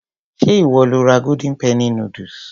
Ṣé ìwọ lo ra golden penny noodles?